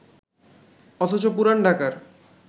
অথচ পুরান ঢাকার